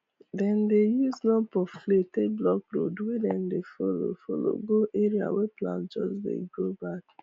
dem dey use lump of clay take block road wey dem dey follow follow go area wey plant just dey grow back